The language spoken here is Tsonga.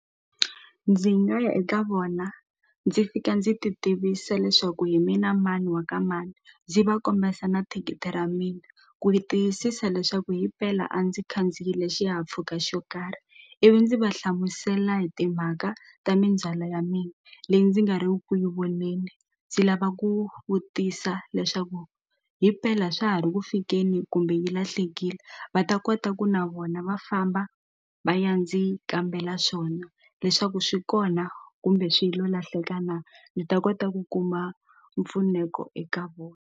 Ndzi nga ya eka vona ndzi fika ndzi ti tivisa leswaku hi mina mani wa ka mani ndzi va kombesa na thikithi ra mina ku yi tiyisisa leswaku himpela a ndzi khandziyile xihahampfhuka xo karhi ivi ndzi va hlamusela hi timhaka ta mindzhwalo ya mina leyi ndzi nga ri ku ku yi voneni ndzi lava ku vutisa leswaku hi mpela swa ha ri ku fikeni kumbe yi lahlekile va ta kota ku na vona va famba va ya ndzi kambela swona leswaku swi kona kumbe swilo lahleka na ni ta kota ku kuma mpfuneko eka vona.